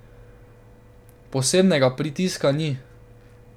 Posebnega pritiska ni.